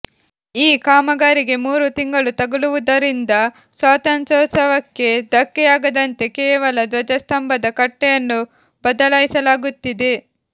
ಈ ಕಾಮಗಾರಿಗೆ ಮೂರು ತಿಂಗಳು ತಗಲುವುದರಿಂದ ಸ್ವಾತಂತ್ರ್ಯೋತ್ಸವಕ್ಕೆ ಧಕ್ಕೆಯಾಗದಂತೆ ಕೇವಲ ಧ್ವಜ ಸ್ತಂಭದ ಕಟ್ಟೆಯನ್ನು ಬದಲಾಯಿಸಲಾಗುತ್ತಿದೆ